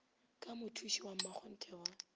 ka mothuši wa mmakgonthe wa